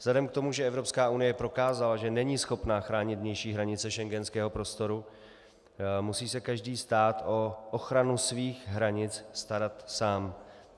Vzhledem k tomu, že Evropská unie prokázala, že není schopna chránit vnější hranice schengenského prostoru, musí se každý stát o ochranu svých hranic starat sám.